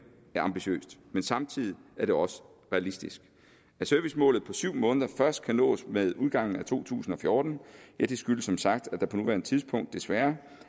ambitiøst men samtidig er det også realistisk at servicemålet på syv måneder først kan nås med udgangen af to tusind og fjorten skyldes som sagt at der på nuværende tidspunkt desværre